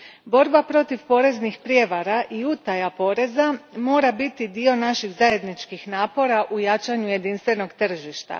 Borba protiv poreznih prijevara i utaja poreza mora biti dio naših zajedničkih napora u jačanju jedinstvenog tržišta.